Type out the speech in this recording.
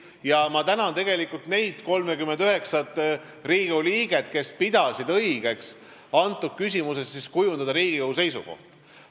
Ja ma tänan neid 39 Riigikogu liiget, kes pidasid õigeks selles küsimuses Riigikogu seisukoht kujundada.